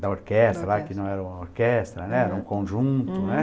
da orquestra lá, que não era uma orquestra, né, era um conjunto, né.